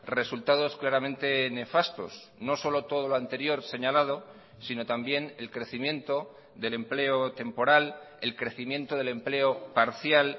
resultados claramente nefastos no solo todo lo anterior señalado sino también el crecimiento del empleo temporal el crecimiento del empleo parcial